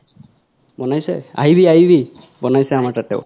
বনাইছে আহিবি আহিবি বনাইছে আমাৰতেও